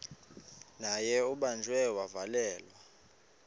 naye ubanjiwe wavalelwa